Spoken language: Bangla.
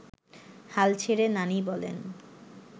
হাল ছেড়ে নানি বলেন